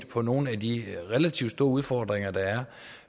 på nogle af de relativt store udfordringer der